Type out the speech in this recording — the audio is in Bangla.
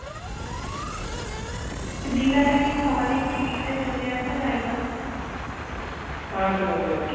হ্যাঁ চলে আসা যায়